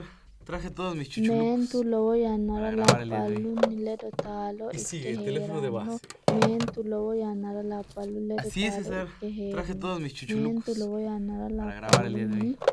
Meentu lowo yannara labballunni ledo taalo ikke hee’rino Meentu lowo yannara labballunni ledo taalo ikke hee’rino Meentu lowo yannara labballunni.